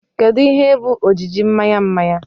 Kedu ihe bụ ojiji mmanya mmanya?